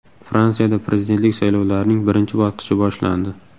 Fransiyada prezidentlik saylovlarining birinchi bosqichi boshlandi.